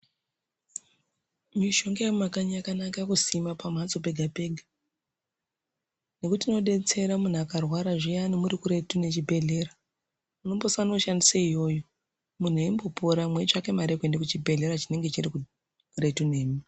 Mishonga yemumakanyu yakanaka kusima pambatso pega pega nekuti inodetsera muntu akarwara zviyani muri kuretu nezvibhedhleya ombasana kushandisa iyoyo epora meitsvake mare yekuenda kuchibhedhlera chinenge chiri kuretu nemi.